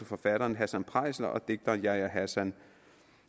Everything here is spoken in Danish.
forfatteren hassan preisler og digteren yahya hassan